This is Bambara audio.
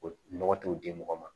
O nɔgɔ t'o di mɔgɔ ma